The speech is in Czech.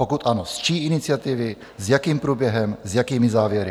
Pokud ano, z čí iniciativy, s jakým průběhem, s jakými závěry?